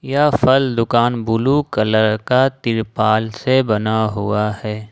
यह फल दुकान ब्लू कलर का तिरपाल से बना हुआ है।